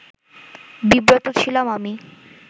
বিব্রত ছিলাম আমি